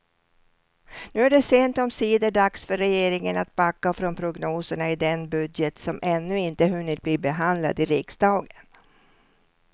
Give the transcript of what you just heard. Nu är det sent omsider dags för regeringen att backa från prognoserna i den budget som ännu inte hunnit bli behandlad i riksdagen.